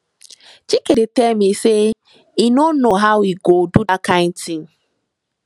chike dey tell me say he no know how he go do dat kin thing